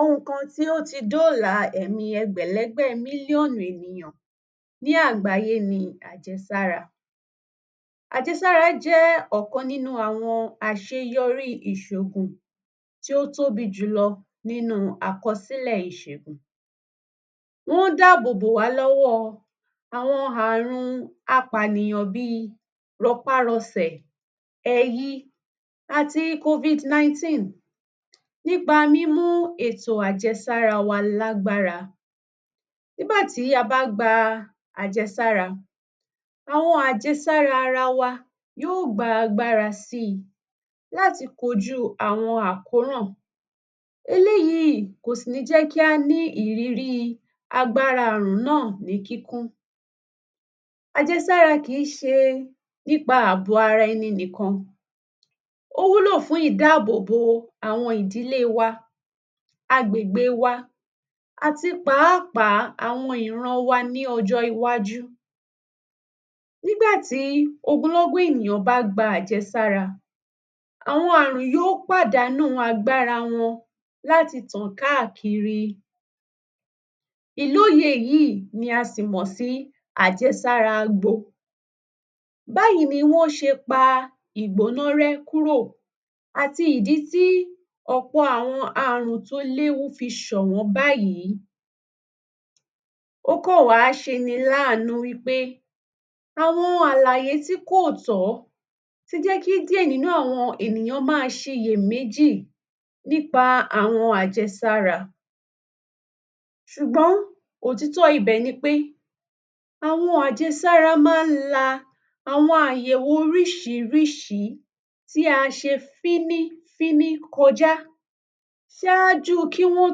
Ohun kan tí ó tí dọ́la ẹ̀mí ẹgbẹ̀lẹ́gbẹ̀ mílíọ̀nù ènìyàn ní àgbéyé ni àjẹsára. Àjẹsára jẹ́ ọ̀kan nínú àseyọrí ìṣògùn tí ó tóbi jùlọ nínú àkọsílẹ̀ ìsègùn. Wọ́n dá àbò bò wá lọ́wọ́ àwọn àrùn apànìyàn bíi rọpá-rọsẹ̀, ẹyí àti covid nineteen nípa mímú ètò àjẹsára wa lágbára. Nígbà tí a bá gba àjẹsára, àwọn àjẹsára wa yó gba agbára síi láti kojú àwọn àkóràn. Eléyìí kò si ní jẹ́ kí á ní ìrírí agbára àrùn náà ní kíkún, àjẹsára kìí ṣe nípa àbò ara ẹni nìkan, ó wúlò fún ìdáàbòbò àwọn ìdílé wa, agbègbè wa àti pàápàá àwọn ìran wa ní ọjọ́ iwájú. Nígbà tí ogunlógún ènìyàn bá gba àjẹsára, àwọn àrùn yó pàdánú agbára wọn láti tàn káàkiri. Ìlóye yìí ni a sì mọ sí àjẹsára gbo. Báyìí ni wọ́n ṣe pa ìgbóná rẹ́ kúrò àti ìdí tí ọ̀pọ̀ àwọn àrùn tó léwu fi ṣọ̀wọ́n báyìí, ó kàn wá ṣeni lánùú wípé àwọn àlàyé tí kò tọ́ tí jẹ́ kí díẹ̀ nínú ènìyàn máa ṣe iyè méjì nípa àwọn àjẹsára. Sùgbọ́n, òtítọ́ ibẹ̀ ni pé àwọn àjẹsára má ń la ̀wọn àyẹ̀wò oríṣiríṣi tí a ṣe fínífíní kọjá sáájú kí wọ́n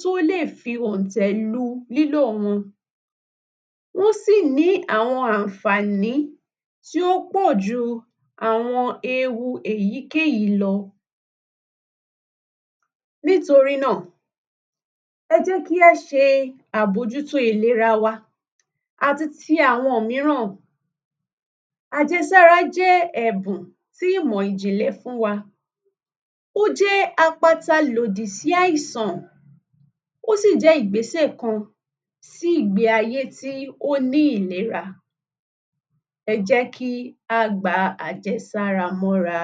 tó lè fi òntẹ̀ lu lílò wọn, wọ́n sì ní àwọn ànfàní tó pọ̀ ju àwọn ewu èyíkèyí lọ, nítorí nà, ẹ jẹ́ kí á ṣe àbójútó ìlera wa àti ti àwọn míràn. Àjẹsára jẹ́ ẹ̀bùn tí ìmọ̀ ìjìnlẹ̀ fún wa, ó jẹ́ apata lòdì sí àìsàn, ó sì jẹ́ ìgbésẹ̀ kan sí ìgbé ayé tí ó ní ìlera, ẹ jé kí á gba àjẹsára mọ́ra.